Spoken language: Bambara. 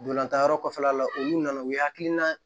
Ntolantan yɔrɔ kɔfɛla la olu nana u ye hakilina